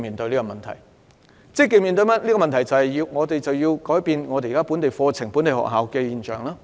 我們必須積極面對這個問題，改變本地課程及本地學校。